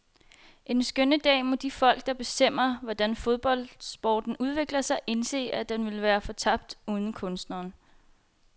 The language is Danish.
En skønne dag må de folk, der bestemmer, hvordan fodboldsporten udvikler sig, indse, at den vil være fortabt uden kunstneren.